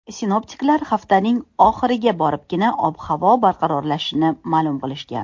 Sinoptiklar haftaning oxiriga boribgina ob-havoning barqarorlashishini ma’lum qilishgan.